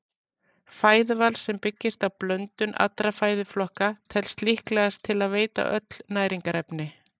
Fæðuval sem byggist á blöndun allra fæðuflokka telst líklegast til að veita öll næringarefni.